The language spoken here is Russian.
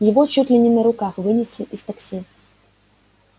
его чуть ли не на руках вынесли из такси